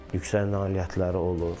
Yüksək nailiyyətləri olur.